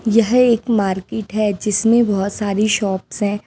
यह एक मार्केट‌ है जिसमें बहुत सारी शॉप्स हैं।